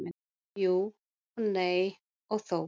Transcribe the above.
Jú og nei og þó.